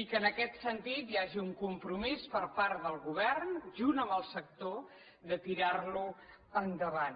i que en aquest sentit hi hagi un compromís per part del govern junt amb el sector de tirar lo endavant